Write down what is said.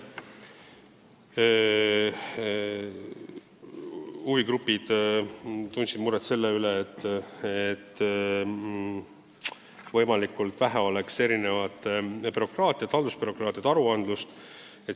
Huvigrupid tundsid muret, kuidas saavutada, et võimalikult vähe oleks bürokraatiat – haldusbürokraatiat, aruandlust.